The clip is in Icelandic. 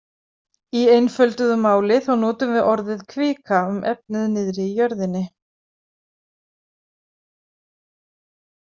Í einfölduðu máli þá notum við orðið kvika um efnið niðri í jörðinni.